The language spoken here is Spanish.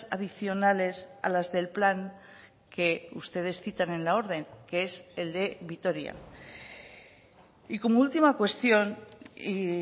adicionales a las del plan que ustedes citan en la orden que es el de vitoria y como última cuestión y